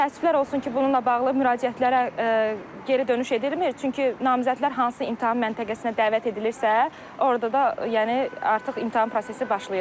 Təəssüflər olsun ki, bununla bağlı müraciətlərə geri dönüş edilmir, çünki namizədlər hansı imtahan məntəqəsinə dəvət edilirsə, orada da yəni artıq imtahan prosesi başlayırdı.